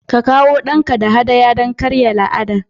Ka kawo ɗanka don haɗaya don karya la'anar